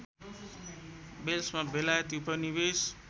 वेल्समा बेलायती उपनिवेश